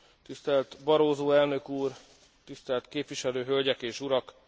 tisztelt Barroso elnök úr, tisztelt képviselő hölgyek és urak!